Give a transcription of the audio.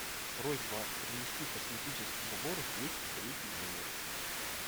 просьба принести косметический набор в двести третий номер